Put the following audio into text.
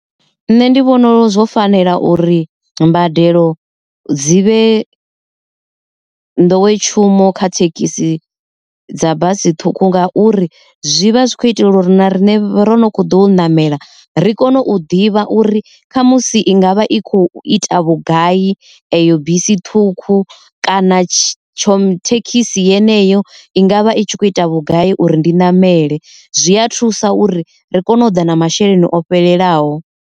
Nṋe ndi vhona zwo fanela uri mbadelo dzi vhe nḓowetshumo kha thekhisi dza basi ṱhukhu, nga uri zwi vha zwi khou itela uri na rine ro no kho ḓo namela ri kone u ḓivha uri kha musi i ngavha i khou ita vhugai eyo bisi ṱhukhu kana tsho thekhisi yeneyo i nga vha i tshi kho ita vhugai uri ndi ṋamele, zwi a thusa uri ri kone u ḓa na masheleni o fhelelaho.